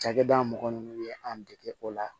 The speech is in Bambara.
Cakɛda mɔgɔ min ye an dege o la